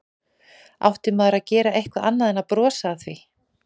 Átti maður að gera eitthvað annað en að brosa að því?